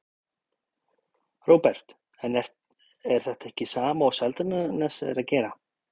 Róbert: En er þetta ekki sama og Seltjarnarnes er að gera?